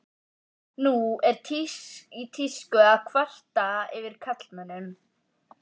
Nú er í tísku að kvarta yfir karlmönnum.